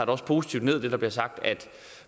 også positivt hvad der bliver sagt at